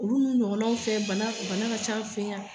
Olu ɲɔgɔnaw fɛ bana ka ca an fɛ yan.